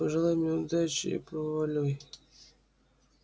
пожелай мне удачи и проваливай